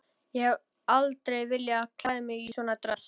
Ég hef aldrei viljað klæða mig í svona dress.